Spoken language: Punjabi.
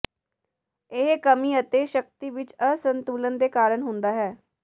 ਇਹ ਕਮੀ ਅਤੇ ਸ਼ਕਤੀ ਵਿਚ ਅਸੰਤੁਲਨ ਦੇ ਕਾਰਨ ਹੁੰਦਾ ਹੈ